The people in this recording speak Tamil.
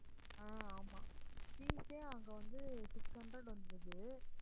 ஆஹ் ஆமாம் fees ஏ அங்க வந்து six hundred வந்துருது